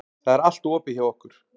Það er allt opið hjá okkur.